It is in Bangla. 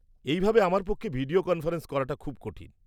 -এই ভাবে আমার পক্ষে ভিডিও কনফারেন্স করাটা খুব কঠিন।